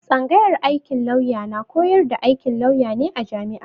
Tsanyagar aikin lauya na koyar da aikin lauya ne a jami'a.